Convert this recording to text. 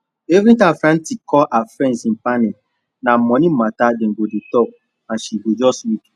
every time frantic call her friends in panic na money matter dem go dey talk and she go just weak